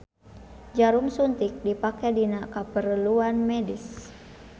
Jarum suntik dipake dina kapereluan medis.